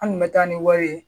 An kun bɛ taa ni wari ye